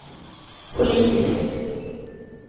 politiskt